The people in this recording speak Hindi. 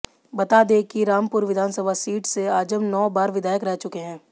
बता दें कि रामपुर विधानसभा सीट से आजम नौ बार विधायक रह चुके हैं